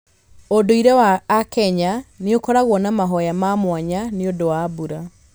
Ũndũire wa aKenya nĩ ũkoragwo na mahoya ma mwanya nĩ ũndũ wa mbura.